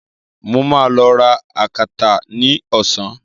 Mo ma lọ ra akátá ní Ọsàn